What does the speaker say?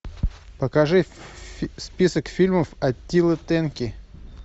покажи список фильмов аттила тенки